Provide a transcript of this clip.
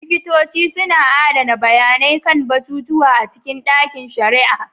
Likitoci suna adana bayanai kan batutuwa a cikin ɗakin shari'a.